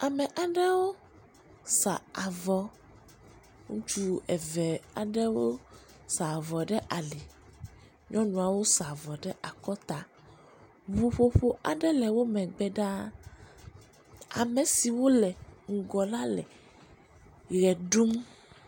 Ame aɖewo sa avɔ, ŋutsu eve aɖewo sa avɔ ɖe ali, nyɔnuawo sa avɔ ɖe akɔta, ŋuƒoƒo aɖe le wo megbe ɖaa, ame siwo le ŋgɔ le ʋe ɖum.